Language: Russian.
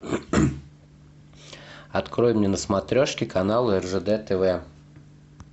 открой мне на смотрешке канал ржд тв